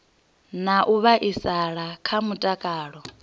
na u vhaisala kha mutakalo